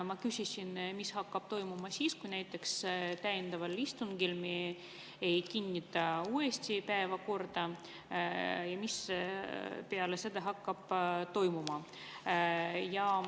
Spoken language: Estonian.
Ma küsisin, mis hakkab toimuma siis, kui näiteks täiendaval istungil me ei kinnita päevakorda, et mis peale seda hakkab toimuma.